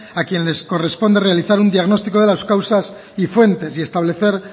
a quien le corresponde realizar un diagnóstico de las causas y fuentes y establecer